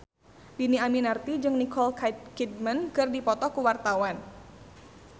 Dhini Aminarti jeung Nicole Kidman keur dipoto ku wartawan